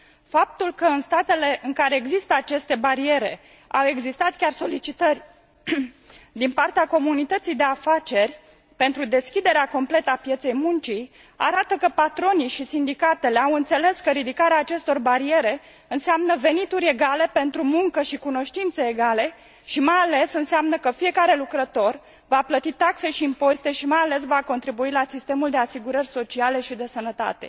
Faptul că în statele în care există aceste bariere au existat chiar solicitări din partea comunității de afaceri pentru deschiderea completă a pieței muncii, arată că patronii și sindicatele au înțeles că ridicarea acestor bariere înseamnă venituri egale pentru muncă și cunoștințe egale, și, mai ales, înseamnă că fiecare lucrător va plăti taxe și impozite și, mai ales, va contribui la sistemul de asigurări sociale și de sănătate.